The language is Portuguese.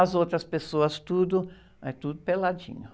As outras pessoas, tudo, mas tudo peladinho.